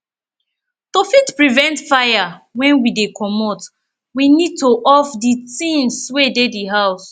to fit prevent fire when we dey comot we need to off di things wey dey di house